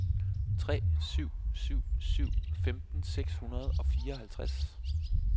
tre syv syv syv femten seks hundrede og fireoghalvtreds